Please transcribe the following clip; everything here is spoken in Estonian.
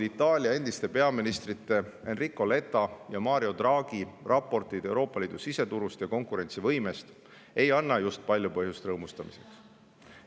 Itaalia endiste peaministrite Enrico Letta ja Mario Draghi hiljuti avaldatud raportid Euroopa Liidu siseturust ja konkurentsivõimest ei anna just palju põhjust rõõmustamiseks.